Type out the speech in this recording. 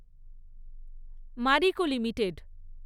Mariko limited